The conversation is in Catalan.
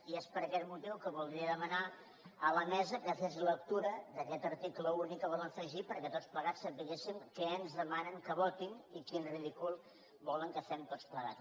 i és per aquest motiu que voldria demanar a la mesa que fes lectura d’aquest article únic que volen afegir perquè tots plegats sapiguem què ens demanen que votem i quin ridícul volen que fem tots plegats